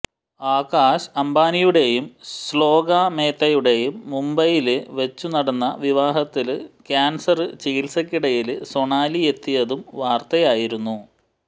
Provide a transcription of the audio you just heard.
ആകാശ് അംബാനിയുടേയും ശ്ലോക മേത്തയുടെയും മുംബൈയില് വച്ചു നടന്ന വിവാഹത്തിന് ക്യാന്സര് ചികിത്സയ്ക്കിടയില് സൊണാലിയെത്തിയതും വാര്ത്തയായിരുന്നു